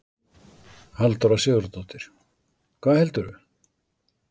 Halldóra Sigurðardóttir: Hvað heldurðu?